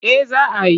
Eh za a yi.